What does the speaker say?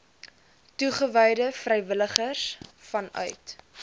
toegewyde vrywilligers vanuit